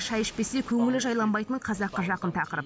шай ішпесе көңілі жайланбайтын қазаққа жақын тақырып